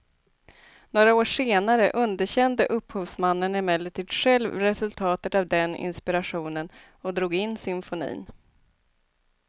Några år senare underkände upphovsmannen emellertid själv resultatet av den inspirationen och drog in symfonin.